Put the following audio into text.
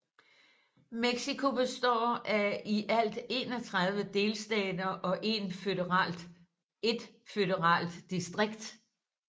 Mexico består af i alt 31 delstater og 1 føderalt distrikt